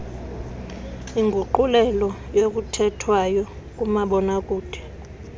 inguqulelo yokuthethwayo kumabonakude